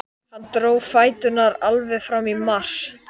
Ekkjan rétti að honum rjúkandi brauð.